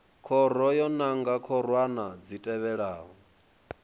khoro yo nanga khorwana dzi tevhelaho